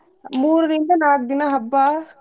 ಮೂರಿಂದ ನಾಕ್ ದಿನಾ ಹಬ್ಬಾ.